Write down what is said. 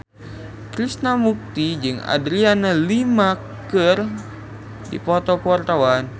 Krishna Mukti jeung Adriana Lima keur dipoto ku wartawan